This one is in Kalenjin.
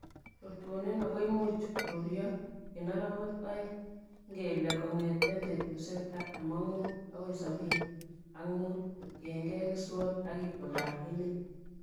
Rutunin ago imuch koruryo en orowek oeng'.Ingele kong'eten betusiek artam ak mut agoi sobini ak mut kotiengei keswot ok itondap emet.